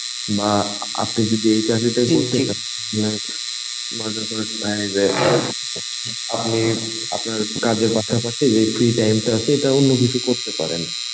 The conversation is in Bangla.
বাহঃ আপনি যদি এই চাকরিটাই শুনছিলেন. আপনি আপনার কাজের পাশাপাশি যে free time টা আছে এটা অন্য কিছু করতে পারেন